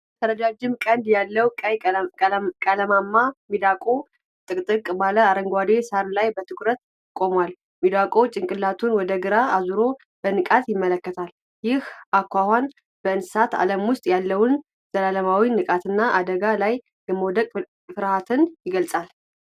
ረጃጅም ቀንድ ያለው ቀይ ቀለማም ሚዳቋ ጥቅጥቅ ባለው አረንጓዴ ሣር ላይ በትኩረት ቆሟል። ሚዳቋው ጭንቅላቱን ወደ ግራ አዙሮ በንቃት ይመለከታል። ይህ አኳኋን በእንስሳት ዓለም ውስጥ ያለውን ዘላለማዊ ንቃትና አደጋ ላይ የመውደቅ ፍርሃት ይገልጻል።